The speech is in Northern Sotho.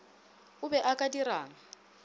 o be o ka dirang